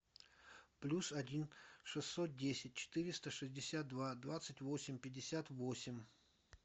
плюс один шестьсот десять четыреста шестьдесят два двадцать восемь пятьдесят восемь